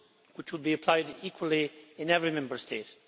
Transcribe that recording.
which will be applied equally in every Member State.